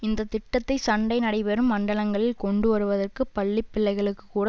இந்த திட்டத்தை சண்டை நடைபெறும் மண்டலங்களில் கொண்டு வருவதற்கு பள்ளி பிள்ளைகளுக்குகூட